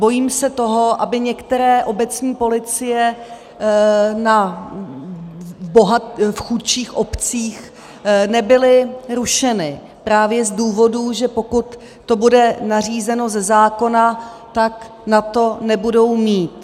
Bojím se toho, aby některé obecní policie v chudších obcích nebyly rušeny právě z důvodů, že pokud to bude nařízeno ze zákona, tak na to nebudou mít.